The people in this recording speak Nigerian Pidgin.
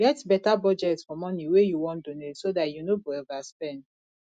get better budget for money wey you wan donate so dat you no go overspend